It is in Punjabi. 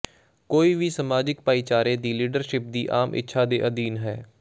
ਕੋਈ ਵੀ ਸਮਾਜਿਕ ਭਾਈਚਾਰੇ ਦੀ ਲੀਡਰਸ਼ਿਪ ਦੀ ਆਮ ਇੱਛਾ ਦੇ ਅਧੀਨ ਹੈ